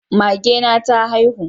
Mage na ta haihu